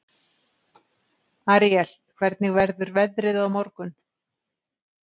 Aríel, hvernig verður veðrið á morgun?